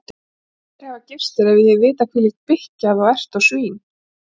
Ég mundi aldrei hafa gifst þér hefði ég vitað hvílík bikkja þú ert og svín